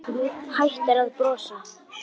Hættir að brosa.